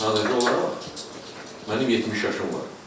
Sadəcə olaraq mənim 70 yaşım var.